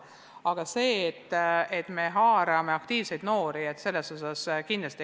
Aga muidugi me haarame kaasa aktiivseid noori, seda kindlasti.